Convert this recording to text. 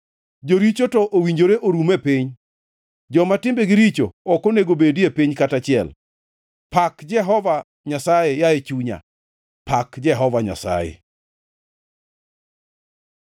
Joricho to owinjore orum e piny; joma timbegi richo ok onego obedie piny kata achiel. Pak Jehova Nyasaye, yaye chunya. Pak Jehova Nyasaye.